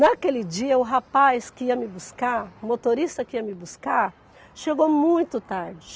Naquele dia, o rapaz que ia me buscar, o motorista que ia me buscar, chegou muito tarde.